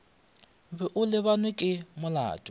be o lebanwe ke molato